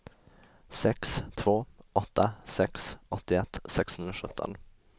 sex två åtta sex åttioett sexhundrasjutton